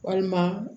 Walima